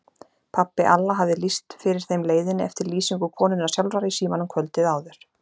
Pabbi Alla hafði lýst fyrir þeim leiðinni eftir lýsingu konunnar sjálfrar í símanum kvöldið áður.